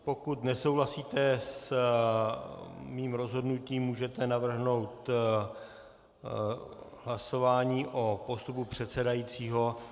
Pokud nesouhlasíte s mým rozhodnutím, můžete navrhnout hlasování o postupu předsedajícího.